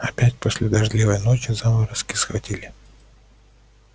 опять после дождливой ночи заморозки схватили